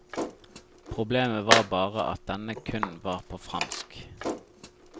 Problemet var bare at denne kun var på fransk.